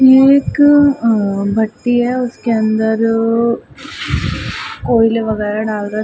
ये एक अअअ भट्टी है। उसके अंदर कोयले वगेरा डाल रहे है।